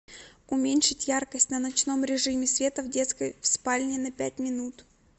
уменьшить яркость на ночном режиме света в детской в спальне на пять минут